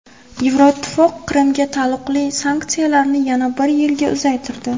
Yevroittifoq Qrimga taalluqli sanksiyalarni yana bir yilga uzaytirdi.